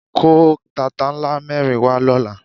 Kó tata ńlá mẹ́rin wá lọ́la.